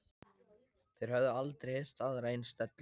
Þeir höfðu aldrei heyrt aðra eins dellu.